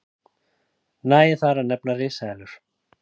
nægir þar að nefna risaeðlur